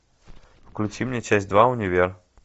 включи мне часть два универ